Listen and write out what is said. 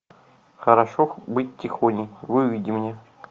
хорошо быть тихоней выведи мне